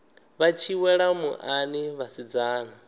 vha tshi wela muḽani vhasidzana